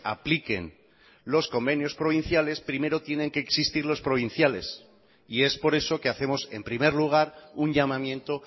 apliquen los convenios provinciales primero tienen que existir los provinciales y es por eso que hacemos en primer lugar un llamamiento